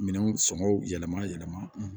Minɛnw sɔngɔw yɛlɛma yɛlɛma